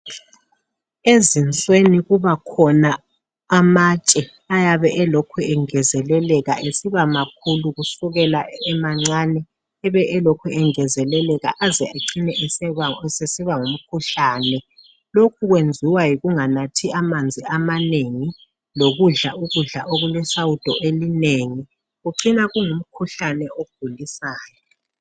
Ezinsweni kubakhona amatshe ayabe elokhu engezeleleka esibamakhulu kusukela emancane ebe elokhu engenzeleleka aze acine sesiba ngumkhuhlane lokhu kwenziwa yikunganathi amanzi amanengi lokudla ukudla okulesawudo elinengi kucina kungumkhuhlane ogulisayo